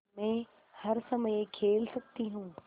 मै हर समय खेल सकती हूँ